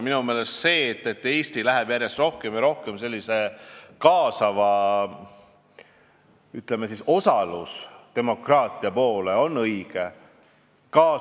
Minu meelest see, et Eesti läheb järjest rohkem ja rohkem sellise kaasava ühiskonna ja, ütleme, osalusdemokraatia poole, on õige.